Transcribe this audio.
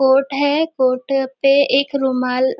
coat है coat पे एक रुमाल--